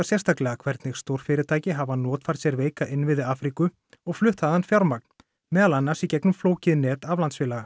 sérstaklega hvernig stórfyrirtæki hafa notfært sér veika innviði Afríku og flutt þaðan fjármagn meðal annars í gegnum flókið net aflandsfélaga